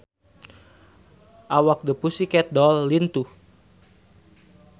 Awak The Pussycat Dolls lintuh